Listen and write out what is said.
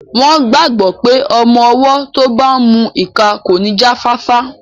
Wọ́n gbàgbọ́ pé ọmọ-ọwọ́ tó bá n mu ìka kò ní jáfáfá